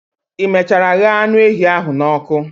i mechara ghee anu ehi a n'oku?